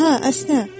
Hə, əsnə.